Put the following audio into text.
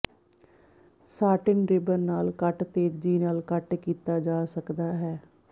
satin ribbon ਨਾਲ ਕੱਟ ਤੇਜ਼ੀ ਨਾਲ ਕੱਟ ਕੀਤਾ ਜਾ ਸਕਦਾ ਹੈ